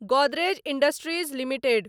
Godrej industries limited